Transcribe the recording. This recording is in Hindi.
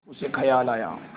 उसे ख़याल आया